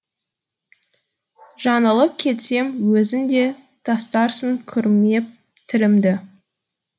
жаңылып кетсем өзің де тастарсың күрмеп тілімді